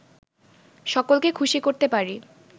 সকলকে খুশি করতে পারি